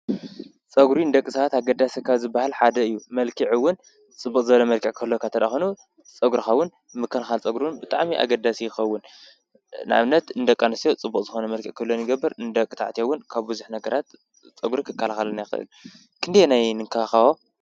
ፀጉሪ ንደቂ ሰባት አገዳሲ ካብ ዝበሃል ሓደ እዩ። መልክዕ እዉን ፅቡቅ ዘርኢ መልክዕ ክህልወካ እንተድአ ኮይኑ ፀጉርካ እውን ምክንካን ፀጉሪ ብጣዕሚ አገዳሲ እዩ ዝኸውን። ንአብነት ን ደቂ አንስትዮ ፅቡቅ ዝኮነ መልክዕ ክህልወን ይገብር። ንደቂ ተባዕትዮ እውን ካብ ብዙሕ ነገራት ፀጉሪ ክከላከልና ይክእል። ክንደየናይ ንከባከቦ?